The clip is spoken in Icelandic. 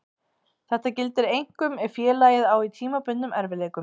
Þetta gildir einkum ef félagið á í tímabundnum erfiðleikum.